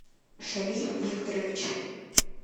шамиль викторович